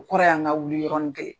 O kɔrɔ ye an ka wuli yɔrɔnin kelen.